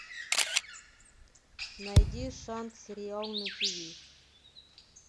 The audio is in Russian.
найди шанс сериал на тиви